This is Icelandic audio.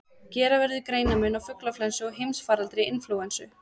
Gera verður greinarmun á fuglaflensu og heimsfaraldri inflúensu.